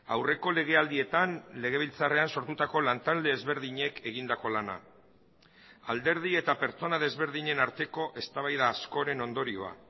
aurreko legealdietan legebiltzarrean sortutako lantalde ezberdinek egindako lana alderdi eta pertsona desberdinen arteko eztabaida askoren ondorioa